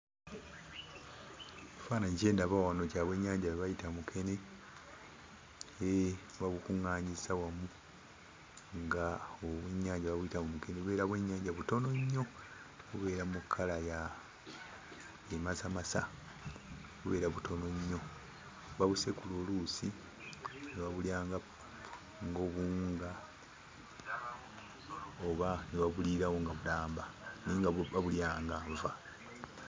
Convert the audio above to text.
Kifaananyi kye ndaba wano kya bwennyanja bwe bayita mukene ee babukungaanyizza wamu nga obwennyanja babuyita bumukene bubeera bwennyanja butono nnyo bubeera mu kkala ya emasamasa bubeera butono nnyo babusekula oluusi ne babulya ng'obuwunga oba ne babuliirawo nga bulamba naye babulya nga nva.